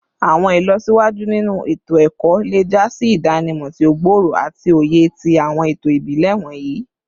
Awọn ilọsiwaju ninu eto-ẹkọ le ja si idanimọ ti o gbooro ati oye ti awọn eto ibile wọnyi